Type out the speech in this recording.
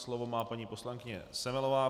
Slovo má paní poslankyně Semelová.